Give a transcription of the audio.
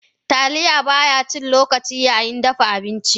Taliya baya cin lokaci yayin dafa abinci.